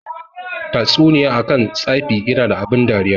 Tatsuniya akan tsafi yana da abun dariya.